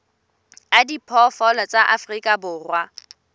a diphoofolo tsa afrika borwa